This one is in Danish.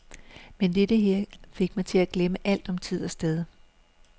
Men dette her fik mig til at glemme alt om tid og sted.